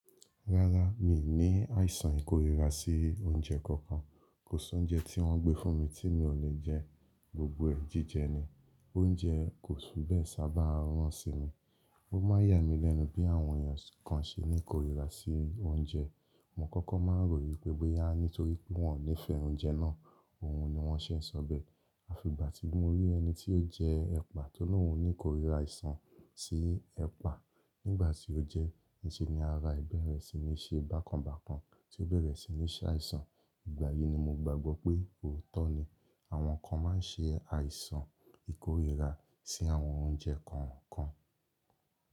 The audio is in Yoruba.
Rárá, mi ò ní àìsàn ìkorira sí oúnjẹ kankan. Kò sí oúnjẹ tí wọ́n gbé fún mi tí mi ò lè jẹ, gbogbo ẹ̀ jíjẹ ni. Oúnjẹ kò fi bee sábà run si mi. Ó má yà mí lẹ́nu bí àwọn èèyàn kan se ní korira sí oúnjẹ. Mo kọ́kọ́ má ń rò wípé bó yá nítorí pé wọ́n ò nífẹ̀ẹ́ oúnjẹ náà, òun ni wọ́n ṣe ń sọ bẹ́ẹ̀. A fi ìgbà tí mo rí ẹni tí ó jẹ ẹpa tó lo ú ní korira àìsàn sí ẹpa nígbà tí ó jẹ ẹ́, ni ṣe ni ara e bẹ̀rẹ̀ sí ní ṣe bákan bákan tí ó bẹ̀rẹ̀ sí ní ṣe àìsàn. Ìgbà yìí ni mo gbagbọ pé òótọ́ ni àwọn kan má ń ṣe àìsàn ìkorira sí àwọn oúnjẹ kọ̀ọ̀kan.